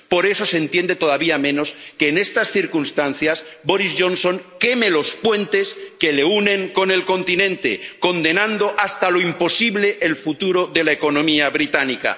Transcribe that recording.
Por eso se entiende todavía menos que, en estas circunstancias, Boris Johnson queme los puentes que le unen con el continente, condenando hasta lo imposible el futuro de la economía británica.